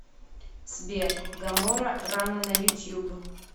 сбер гамора рано на ютуб